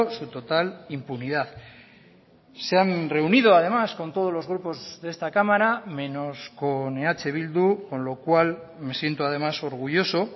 su total impunidad se han reunido además con todos los grupos de esta cámara menos con eh bildu con lo cual me siento además orgulloso